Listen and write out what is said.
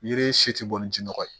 Yiri si tɛ bɔ ni jinɔgɔ ye